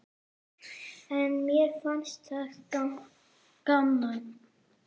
En mér fannst það gaman.